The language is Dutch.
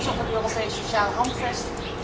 Ik ben trots op het Europees Sociaal Handvest.